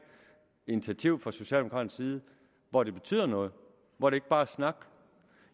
initiativ fra socialdemokraternes side hvor det betyder noget hvor det ikke bare er snak